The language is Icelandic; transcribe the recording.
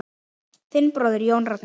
Þinn bróðir, Jón Ragnar.